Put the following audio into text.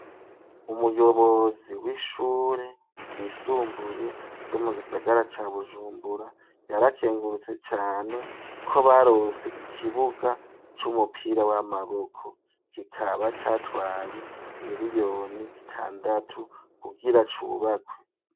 Umuyobozi w'ishure ryisumbuye ryo mu gisagara ca bujumbura yarakengurutse cane ko barose ikibuga c'umupira w'amaboko kikaba catwaye imiriyoni zitandatu kugira cubakwe.